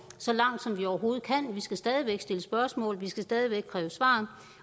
så langt som vi overhovedet kan vi skal stadig væk stille spørgsmål og vi skal stadig væk kræve svar